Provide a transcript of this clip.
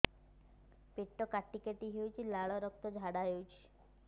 ପେଟ କାଟି କାଟି ହେଉଛି ଲାଳ ରକ୍ତ ଝାଡା ହେଉଛି